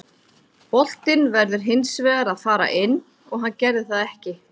Boltinn verður hins vegar að fara inn og hann gerði það ekki.